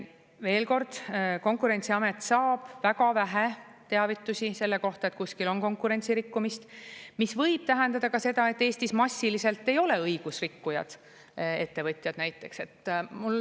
Veel kord: Konkurentsiamet saab väga vähe teavitusi selle kohta, et kuskil on konkurentsirikkumist, mis võib tähendada ka seda, et Eestis massiliselt ei ole õigusrikkujad, ettevõtjad näiteks.